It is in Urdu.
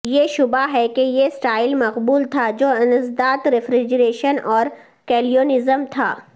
یہ شبہ ہے کہ یہ سٹائل مقبول تھا جو انسداد ریفریجریشن اور کیلونیززم تھا